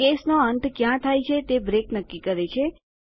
કેસનો અંત ક્યાં થાય છે તે બ્રેક નક્કી કરે છે